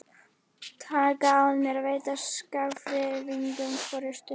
Taka að mér að veita Skagfirðingum forystu.